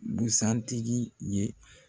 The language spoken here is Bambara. Busan tigi ye.